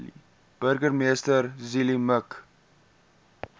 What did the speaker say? burgemeester zille mik